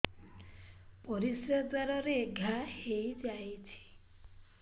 ପରିଶ୍ରା ଦ୍ୱାର ରେ ଘା ହେଇଯାଇଛି